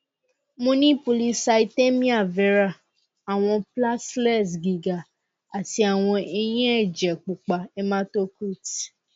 mo ni polycythemia vera awọn platelets giga ati awọn eyin ẹjẹ pupa hematocrit